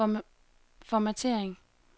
formattering